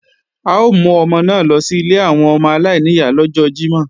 À ó mú ọmọ náà lọ sí ilé àwọn ọmọ aláìníyá lọ́jọ́ Jímọ̀